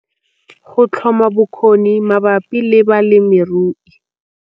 Go tlhoma bokgoni mabapi le balemirui